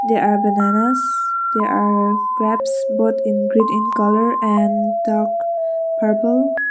there are bananas there are grapes both in green in colour and dark purple.